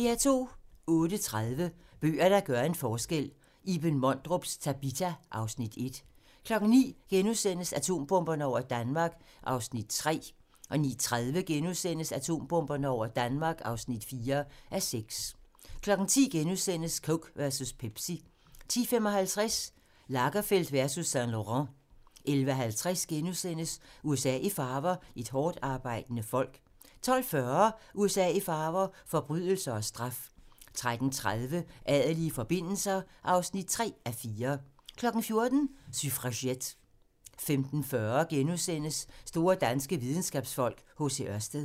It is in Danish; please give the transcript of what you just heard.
08:30: Bøger, der gør en forskel - Iben Mondrups "Tabita" (Afs. 1) 09:00: Atombomberne over Danmark (3:6)* 09:30: Atombomberne over Danmark (4:6)* 10:00: Coke versus Pepsi * 10:55: Lagerfeld versus Saint-Laurent 11:50: USA i farver - et hårdtarbejdende folk * 12:40: USA i farver - forbrydelser og straf 13:30: Adelige forbindelser (3:4) 14:00: Suffragette 15:40: Store danske videnskabsfolk: H.C. Ørsted *